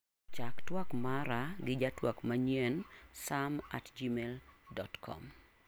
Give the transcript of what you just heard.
Chak tuak mara gi jatuak manyien sam@gmail.com.